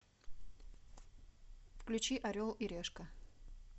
включи орел и решка